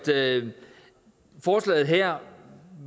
forslaget her